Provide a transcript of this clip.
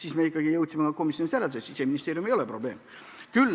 Aga me jõudsime komisjonis järeldusele, et Siseministeerium ei ole probleem.